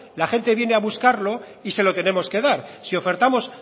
la gente viene a buscarlo y se lo tenemos que dar si ofertamos